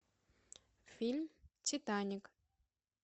фильм титаник